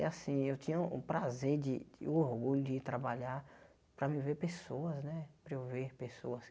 E assim eu tinha o prazer de, o orgulho de ir trabalhar para mim ver pessoas né, para eu ver pessoas.